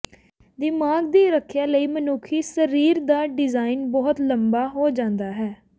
ਦਿਮਾਗ ਦੀ ਰੱਖਿਆ ਲਈ ਮਨੁੱਖੀ ਸਰੀਰ ਦਾ ਡਿਜ਼ਾਇਨ ਬਹੁਤ ਲੰਬਾ ਹੋ ਜਾਂਦਾ ਹੈ